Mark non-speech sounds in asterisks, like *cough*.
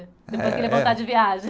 *unintelligible* Depois que ele voltar de viagem.